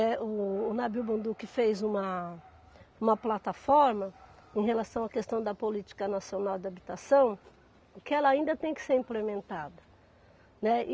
Né. O o Nabil Bonduki fez uma uma plataforma em relação à questão da política nacional da habitação, e que ela ainda tem que ser implementada, né. E